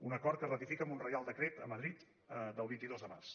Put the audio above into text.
un acord que es ratifica amb un reial decret a madrid del vint dos de març